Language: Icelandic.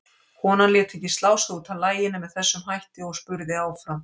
Konan lét ekki slá sig út af laginu með þessum hætti og spurði áfram